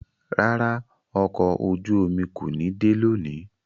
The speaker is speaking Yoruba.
Rárá, ọkọ ojú-omi ko ni de loni